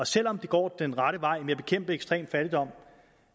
selv om det går den rette vej med at bekæmpe ekstrem fattigdom